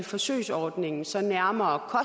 forsøgsordningen så nærmere